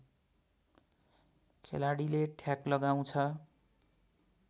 खेलाडीले ठ्याक लगाउँछ